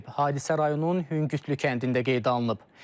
Hadisə rayonun Hüngütlü kəndində qeydə alınıb.